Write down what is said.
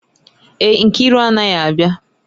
Èè, Nkiru anaghị abịa